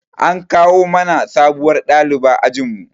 An kawo mana sabuwar ɗaliba ajin mu